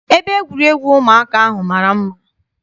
Ebe egwuregwu ụmụaka ahụ mara mma.